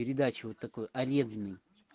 передача вот такой арендный